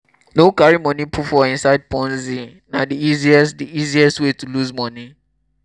no carry money put for inside ponzi na di easiest di easiest way to loose money